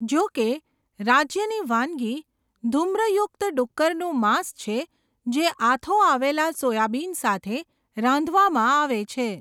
જો કે, રાજ્યની વાનગી ધૂમ્રયુક્ત ડુક્કરનું માંસ છે જે આથો આવેલા સોયાબીન સાથે રાંધવામાં આવે છે.